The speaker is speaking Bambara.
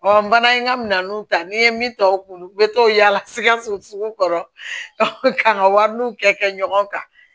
n fana ye n ka minɛnnu ta n'i ye min ta o kun u bɛ to yaala sikaso kɔrɔ ka n ka wariniw kɛ kɛ ɲɔgɔn kan